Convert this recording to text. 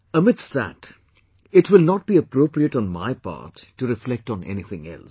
Amidst that, it will not be appropriate on my part to reflect on anything else